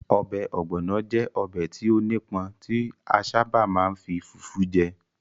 Ọbẹ̀ Ogbono jẹ́ ọbẹ̀ tí ó nípọn tí a sábà máa ń fi fufu je.